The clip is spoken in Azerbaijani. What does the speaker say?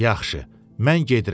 Yaxşı, mən gedirəm.